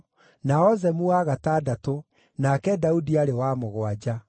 na Ozemu wa gatandatũ, nake Daudi aarĩ wa mũgwanja.